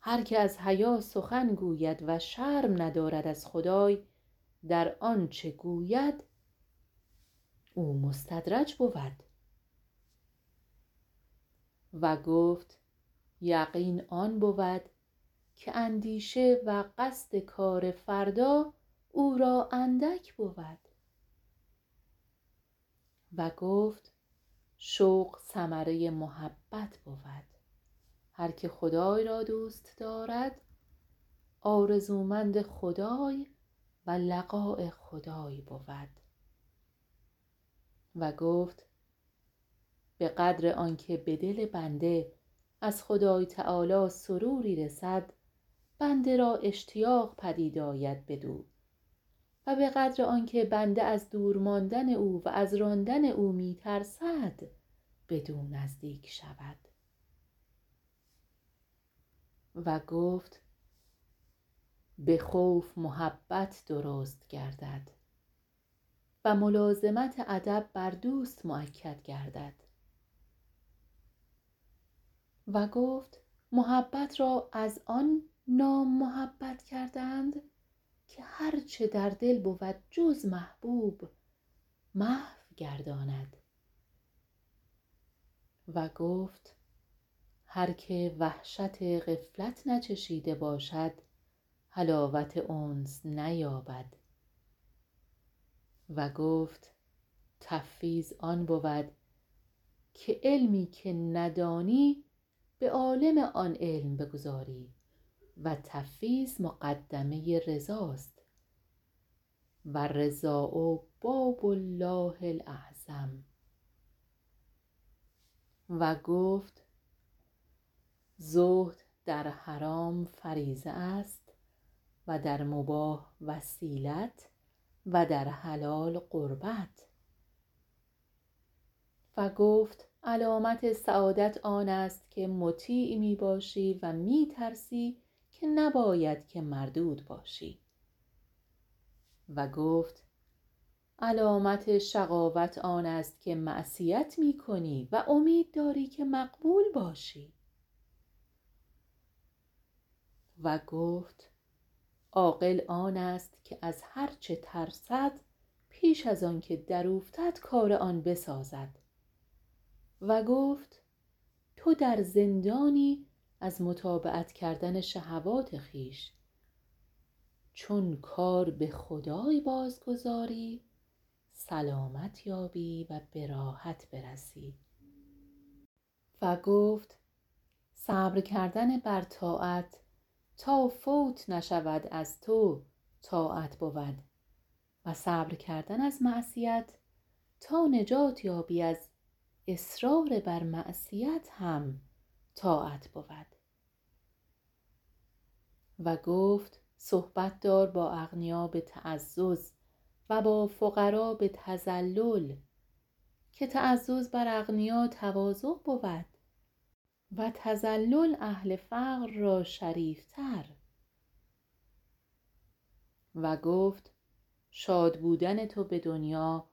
هر که از حیا سخن گوید و شرم ندارد از خدای در آنچه گوید او مستدرج بود و گفت یقین آن بود که اندیشه و قصد کار فردا او را اندک بود و گفت شوق ثمره محبت بود هر که خدای را دوست دارد آرزومند خدای و لقاء خدای بود و گفت بقدر آنکه بدل بنده از خدای تعالی سروری رسد بنده را اشتیاق پدید آید بدو و بقدر آنکه بنده از دور ماندن او و از راندن او می ترسد بدو نزدیک شود و گفت بخوف محبت درست گردد و ملازمت ادب بر دوست مؤکد گردد و گفت محبت را از آن نام محبت کردند که هر چه در دل بود جز محبوب محو گرداند و گفت هر که وحشت غفلت نچشیده باشد حلاوت انس نیابد و گفت تفویض آن بود که علمی که ندانی به عالم آن علم بگذاری و تفویض مقدمه رضا است و الرضا باب الله الاعظم و گفت زهد در حرام فریضه است و در مباح وسیلت و در حلال قربت و گفت علامت سعادت آنست که مطیع می باشی و می ترسی که نباید که مردود باشی و گفت علامت شقاوت آن است که معصیت می کنی و امید داری که مقبول باشی و گتف عاقل آنست که از هرچه ترسد پیش از آنکه در اوفتد کار آن بسازد و گفت تو در زندانی ازمتابعت کردن شهوات خویش چون کار به خدای بازگذاری سلامت یابی و براحت برسی و گفت صبر کردن بر طاعت تا قوت نشود از تو طاعت بود و صبر کردن از معصیت تا نجات یابی از اصرار بر معصیت هم طاعت بود و گفت صحبت دار با اغنیا بتعزز و بافقرا به تذلل که تعزز بر اغنیا تواضع بود و تذلل اهل فقر را شریفتر و گفت شاد بودن تو به دنیا